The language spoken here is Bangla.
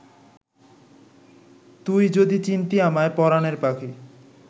তুই যদি চিনতি আমায় পরানের পাখি